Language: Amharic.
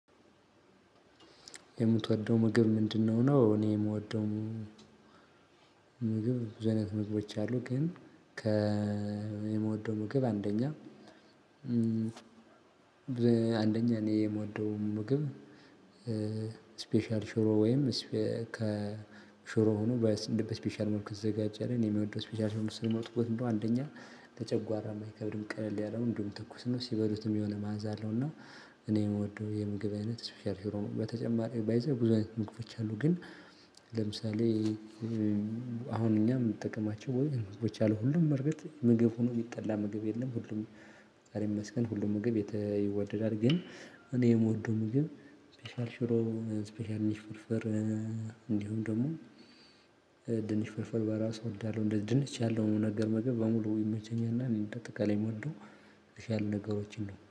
የምትወደው ምግብ ምንድነው? ነው እኔ የምወደው ምግብ ዘይነት ምግቦች አሉ። ግን ከ የምወደው ምግብ አንደኛ አንደኛ እኔ የምወደው ምግብ። ስፔሻል ሽሮ ወይም ሽሮ ሆኖ ከሽሮ በስፔሻል መልኩ የተዘጋጀ እኔ የምወደው ስፔሻል ሽሮ ወጥ አንደኛ ለጨጓራም አይከብድም ቀላል ያለ ትኩስ ነው። ሲበሉትም የሆነ መዓዛ ያለውና። እኔ የምወደው የምግብ አይነት ስፒሻል ሽሮ በተጨማሪ ባይ ዘ ዌይ ብዙ አይነት ምግቦች አሉ። ግን ለምሳሌ አሁን እኛም ምጠቀማቸው ወይ ህዝቦች ያሉ ሁሉም በርገጥ ምግብ ሆኖ የሚጠላ ምግብ የለም። ሁሉም ፈጣሪ ይመስገን ሁሉም ምግብ ይወደዳል። ግን እኔ የምወደው ምግብ ስፔሻል ሽሮ ስፔሻል ኒሽ ፍርፍር። እንዲሁም ደግሞ ድንች ፍርፍር በራሱ እወዳለሁ። ድንች ያለው ምግብ ሁሉ በራሱ ይመቸኛል። እና በአጠቃላይ የምወደው የተሻሉ ነገሮችን ነው